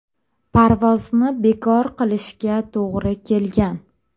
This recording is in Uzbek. Parvozni bekor qilishga to‘g‘ri kelgan.